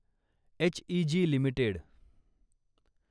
HEG limited